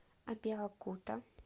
абеокута